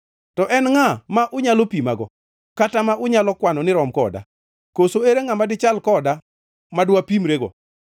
To en ngʼa ma unyalo pimago kata ma unyalo kwano ni rom koda? Koso ere ngʼama dichal koda ma dwapimrego?